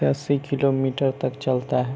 दस ही kilometre तक चलता है।